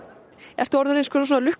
ertu orðinn einskonar